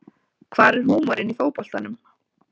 Hvar er húmorinn í fótboltanum